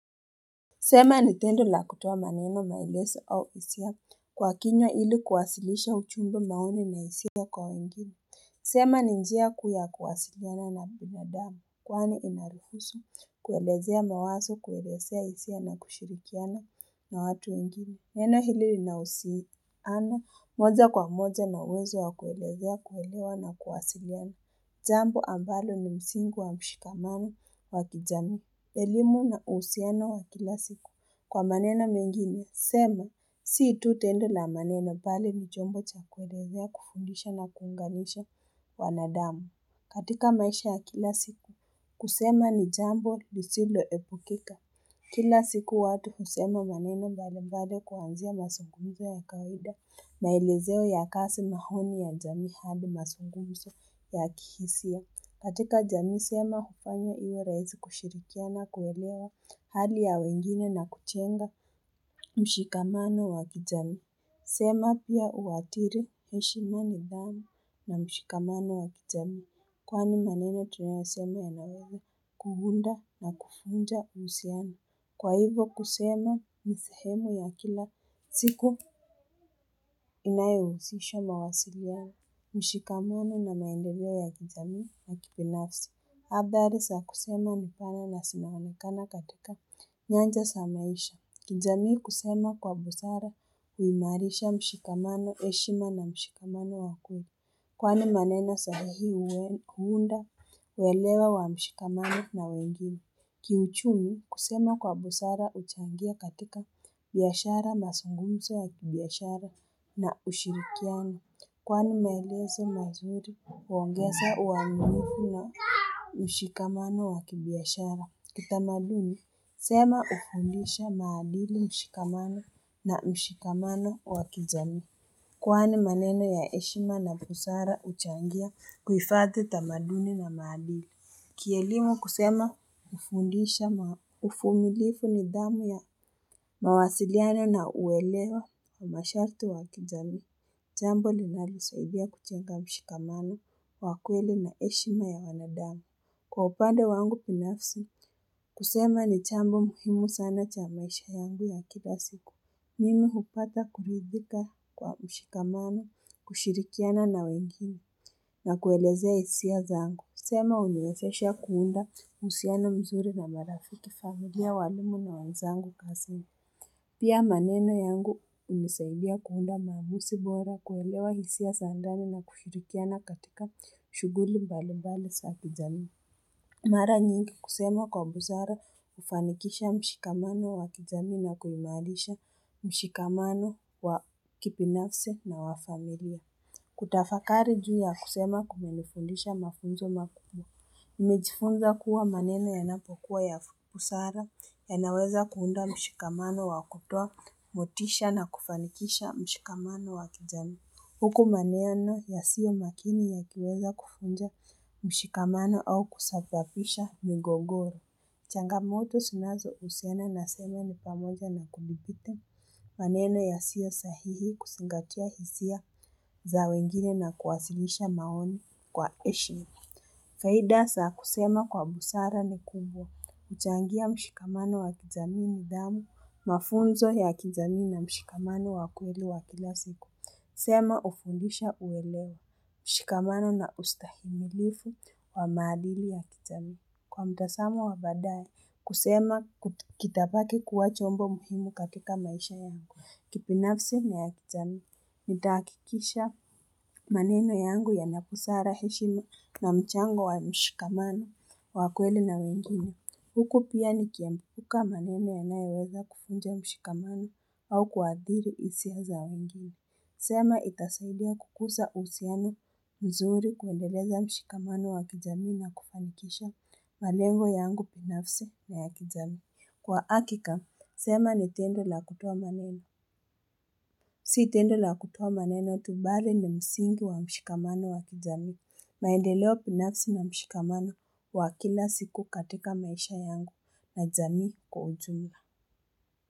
Sema ni tendo na kutuwa maneno mailezo au hisia Kwa kinywa ili kuwasilisha ujumbe maoni na hisia kwa wengine sema ni njia kuu kuwasiliana na bimodama. Kwani inaruhusu, kuwelezea mawazo, kuwelezea isiapto na kushirikiana na watu wengili. Neno hili inausiano moja kwa moja na wezo wa kuwelezea kuwelewa na kuwasiliana. Jambo ambalo ni msingu wa mshikamamu wa kijamii elimu na uhusiano wa kila siku. Kwa manena mengine, sema, si tu tendo la maneno bali ni chombo cha kuelezea kufundisha na kuunganisha wanadamu. Katika maisha ya kila siku, kusema ni jambo lisilo epukika. Kila siku watu kusema manena bala bade kuanzia masungunzo ya kaida na elezeo ya kasi mahoni ya jami habi masungunzo ya kihisia. Katika jamii sema kupanyo iwe raisi kushirikia na kuelewa hali ya wengine na kujenga mshikamano wa kijamii sema pia uadhari heshimani bami na mshikamano wa kijamii. Kwani maneno tunewazema ya nawewe kuunda na kuvunja usami. Kwa hivo kusema ni sehemu ya kila siku inayohusisho mawasili yaa mshikamano na maendovia ya kijami na kibinafsi. Habari saa kusema mpana na simaamikana katika nyanja za maisha kijamii kusema kwa busara uimarisha mshikamano eshima na mshikamano wakuni Kwane manena sahihii uhunda uwelewa wa mshikamano na wengine Kiuchumi kusema kwa busara uchangia katika biashara mazungumzo wa kibiashara na ushirikiano Kwani maelezo mazuri uongeza uwa mimi na mshikamano wakibiashara Kitamaduni sema ufundisha maadili mshikamano na mshikamano wa kijami Kwani maneno ya eshima na pusara uchangia kuifadhi tamaduni na maadili Kielimu kusema ufundisha uvumilifu nidhamu ya mawasiliano na uelewa wa masharti wa kijami Jambo linalisaidia kujenga mshikamano wa kweli na heshima ya wanadamu Kwa upande wangu pinafsi, kusema ni chambo muhimu sana cha maisha yangu ya kila siku. Mimi upata kuridhika kwa mshikamana, kushirikiana na wengine, na kuelezea hisia zangu. Kusema uniwezesha kuunda musiana mzuri na marafiki familia walumu na wanzangu kasama. Pia maneno yangu uniseulia kuunda mamusi bora, kuelewa hisia za ndani na kushirikiana katika shughuli mbali mbali za kijamii Mara nyingi kusema kwa busara ufanikisha mshikamano wa kijami na kuimalisha mshikamano wa kibinafsi na wa familia. Kutafakari juu ya kusema kuimalifunisha mafunzo makubwa. Imejifunza kuwa maneno ya napokuwa ya busara yanaweza kuunda mshikamano wa kutoa motisha na kufanikisha mshikamano wa kijami. Huku maneno ya siyo makini yakiweza kuvunja mshikamano au kusafafisha migogoro. Changamoto zinazo usena na semea ni pamoja na kulibite maneno ya siyo sahihi kusingatua hisia za wengine na kuwasilisha maoni kwa heshima Faida za kusema kwa busara ni kubwa. Uchangia mshikamano wa kijamii nidhamu, mafunzo ya kijamii na mshikamano wa kweli wa kilasiku. Sema ufundisha uwelewa mshikamano na ustahimilifu wa maadili ya kijamii. Kwa mtazamo wa baadae, kusema kitabaki kuwa chombo muhimu kakita maisha yangu. Kibnafsi na ya kitani, mitakikisha maneno yangu ya napusara hishina na mchango wa mshikamano wa kweli na wengine Huku pia nikiamka maneno ya naeweza kuvunja mshikamano au kwaadhiri isi ya za wenjini. Sema itasaidia kukusa usiani mzuri kuendeleja mshikamano wa kijami na kupamikisha malengo yangu pinafsi na ya kijami. Kwa hakika, sema ni tendo na kutoa maneno. Si tendo na kutoa maneno tubare ndo msingi wa mshikamano wa kijami. Maendeleo binafsi na mshikamano wa kila siku katika maisha yangu na jamii kwa ujumla.